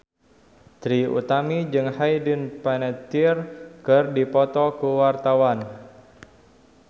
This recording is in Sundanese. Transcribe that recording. Trie Utami jeung Hayden Panettiere keur dipoto ku wartawan